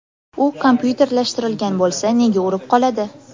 U kompyuterlashtirilgan bo‘lsa... Nega urib qoladi?